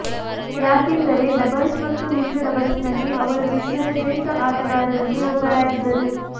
ಯಾಕೆಂದರೆ ಡಬಲ್ಸ್ ಹಾಗೂ ಮಿಶ್ರ ಡಬಲ್ಸ್ನಲ್ಲಿ ಅವರು ವಿಶ್ವದ ಶ್ರೇಷ್ಠ ಆಟಗಾರರಲ್ಲಿ ಒಬ್ಬರಾಗಿದ್ದರು